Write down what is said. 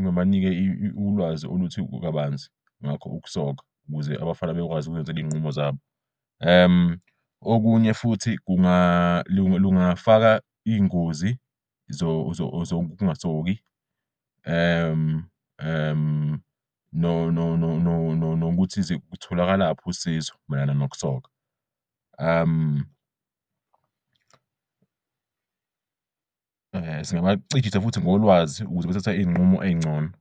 ngibanike ulwazi oluthi kabanzi ngakho ukusoka ukuze abafana bayokwazi ukuzenzel'iy'nqumo zabo. Okunye futhi lungafaka iy'ngozi zokungasoki nokuthi lutholakalaphi usizo mayelana nokusoka. Singabacijisa futhi ngolwazi ukuze bathathe izinqumo ezingcono.